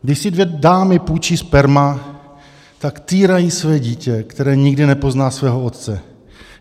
Když si dvě dámy půjčí sperma, tak týrají své dítě, které nikdy nepozná svého otce.